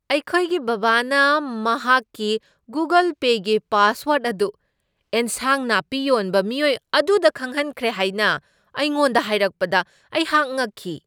ꯑꯩꯈꯣꯏꯒꯤ ꯕꯕꯥꯅ ꯃꯍꯥꯛꯀꯤ ꯒꯨꯒꯜ ꯄꯦꯒꯤ ꯄꯥꯁꯋꯥꯔ꯭ꯗ ꯑꯗꯨ ꯑꯦꯟꯁꯥꯡ ꯅꯥꯄꯤ ꯌꯣꯟꯕ ꯃꯤꯑꯣꯏ ꯑꯗꯨꯗ ꯈꯪꯍꯟꯈ꯭ꯔꯦ ꯍꯥꯏꯅ ꯑꯩꯉꯣꯟꯗ ꯍꯥꯏꯔꯛꯄꯗ ꯑꯩꯍꯥꯛ ꯉꯛꯈꯤ꯫